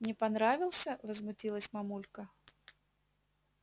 не понравился возмутилась мамулька